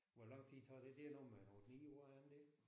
Hvor lang tid tager det det er noget med en 8 9 år er det ikke?